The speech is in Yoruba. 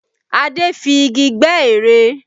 Adé fi igi gbẹ́ ère